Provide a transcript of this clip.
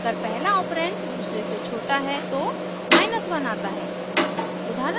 अगर पहला ऑपरेंड दूसरे से छोटा है तो 1 आता है